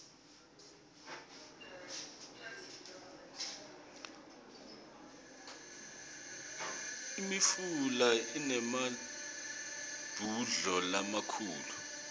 imifula inemabhudlo lamakhulu